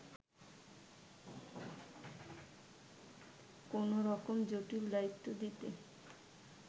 কোনওরকম জটিল দায়িত্ব দিতে